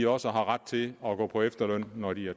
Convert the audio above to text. også har ret til at gå på efterløn når de